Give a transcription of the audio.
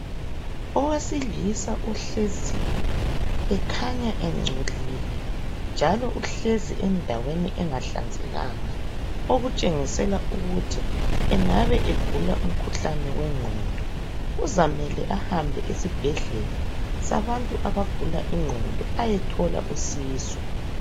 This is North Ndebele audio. Owesilisa ohleziyo ekhanya engcolile njalo uhlezi endaweni engahlanzekanga okutshengisela ukuthi engabe egula umkhuhlane wengqondo kuzamele ahambe esibhedlela sabantu abagula ingqondo ayethola usizo